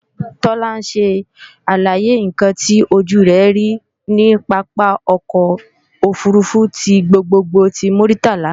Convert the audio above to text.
Tọ́lá ń ṣe àlàyé ǹkan tí ojú rẹ̀ rí ní pápá ọkọ̀ òfurufú ti gbogbogbò ti Muritala